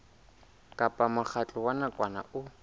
kapa mokgatlo wa nakwana o